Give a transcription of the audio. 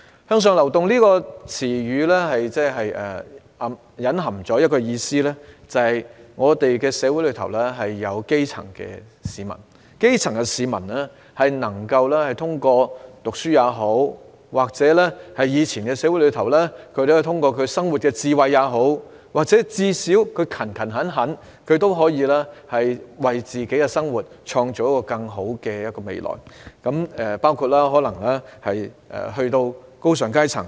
"向上流動"一詞所隱含的意思是，社會上的基層市民能夠通過讀書，或是在以往的社會通過生活智慧，甚至最低限度通過勤勤懇懇的工作，為自己的生活創造更好的未來，包括進身高尚階層。